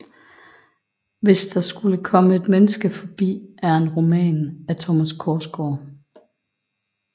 Hvis der skulle komme et menneske forbi er en roman af Thomas Korsgaard